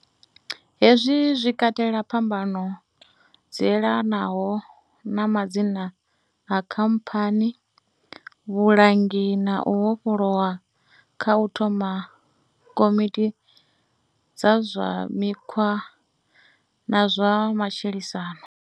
Hezwi zwi katela phambano dzi elanaho na madzina a khamphani, vhulangi na u vhofhololwa kha u thoma komiti dza zwa mikhwa na zwa matshilisano.